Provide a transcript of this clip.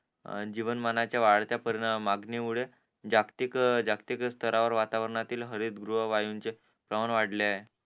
जीवनमानच्या वाढत्या परिणाम मागणी मुळे जागतिक जागतिक स्थरा वर वातावरणातील हरितगृह वायूंचे प्रमाण वाढले आहे